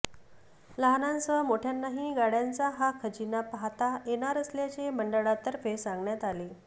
लहानांसह मोठ्यांनाही गाड्यांचा हा खजिना पाहता येणार असल्याचे मंडळातर्फे सांगण्यात आले